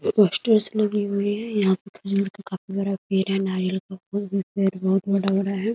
Posters लगे हुए हैं यहाँ पर पेड़ है नारियल पेड़ है पेड़ बहुत बड़ा-बड़ा है ।